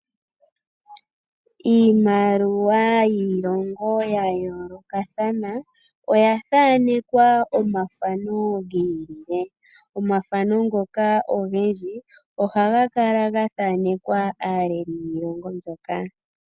Iimaliwa yiilongo ya yoolokathana oya thanekwa omathano gi ilile. Omathano ngoka ogendji ohaga kala ga thanekwa aaleli yiilongo mbyoka.